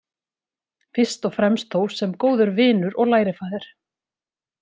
Fyrst og fremst þó sem góður vinur og lærifaðir.